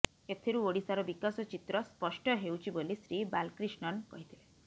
ଏଥିରୁ ଓଡ଼ିଶାର ବିକାଶ ଚିତ୍ର ସ୍ପଷ୍ଟ ହେଉଛି ବୋଲି ଶ୍ରୀ ବାଲକ୍ରିଷ୍ଣନ୍ କହିିଥିଲେ